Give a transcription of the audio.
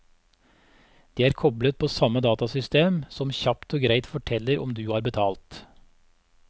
De er koblet på samme datasystem, som kjapt og greit forteller om du har betalt.